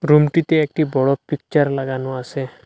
রুমটিতে একটি বড় পিকচার লাগানো আসে।